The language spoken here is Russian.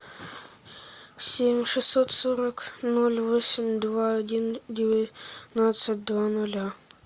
семь шестьсот сорок ноль восемь два один девятнадцать два ноля